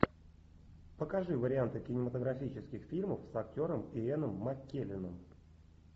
покажи варианты кинематографических фильмов с актером иэном маккелленом